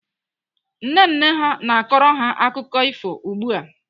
Nne nne ha na-akọrọ ha akụkọ ifo ugbu a.